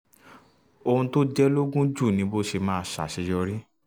ohun tó jẹ ẹ́ lógún jùlọ ni bó ṣe máa ṣàṣeyọrí